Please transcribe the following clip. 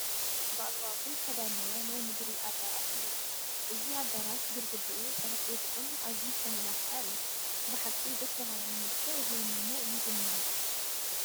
ብኣግባቡ ዝተዳለወ ናይ ምግቢ ኣዳራሽ እኒአ፡፡ እዚ ኣዳራሽ ግድግድኡ ጠረጴዝኡን ኣዝዩ ዝተመላኽዐ እዩ፡፡ ብሓቂ ደስ በሃሊ መልክዕ ዝወነነ እዩ ዝኒሆ፡፡